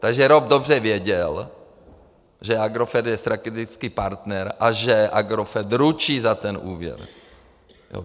Takže ROP dobře věděl, že Agrofert je strategický partner a že Agrofert ručí za ten úvěr.